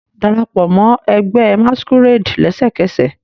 Darapọ mọ ẹgbẹ masquerade lẹsẹkẹsẹ